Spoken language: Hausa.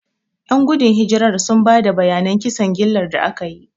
Ƴan gudun hijirar sun ba da bayanan kisan gillar da aka yi.